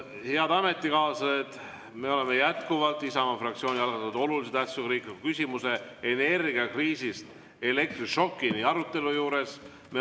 Nii, head ametikaaslased, me oleme jätkuvalt Isamaa fraktsiooni algatatud olulise tähtsusega riikliku küsimuse "Energiakriisist elektrišokini" arutelu juures.